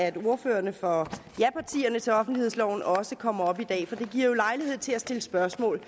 at ordførerne for japartierne til offentlighedsloven også kommer op i dag for det giver jo os lejlighed til at stille spørgsmål